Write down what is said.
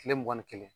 Kile mugan ni kelen